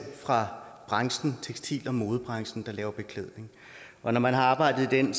fra branchen tekstil og modebranchen der laver beklædning og når man har arbejdet i den